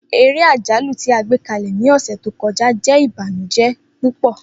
Ere ajalu ti a gbekalẹ ni ọsẹ to kọja jẹ ibanujẹ pupọ.